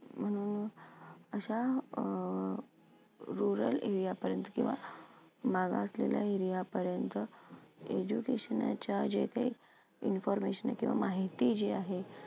म्हणून अशा अ rural area पर्यंत किंवा मागं असलेल्या area पर्यंत education च्या जे काही information किंवा माहिती जे आहे.